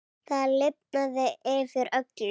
Það lifnaði yfir öllu.